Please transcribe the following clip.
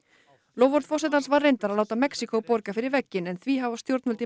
loforð forsetans var reyndar að láta Mexíkó borga fyrir vegginn en því hafa stjórnvöld í